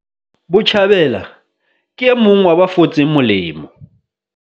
Botjhabela ke e mong wa ba fotseng molemo.